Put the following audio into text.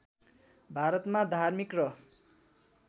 भारतमा धार्मिक र